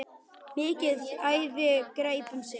Mikið æði greip um sig.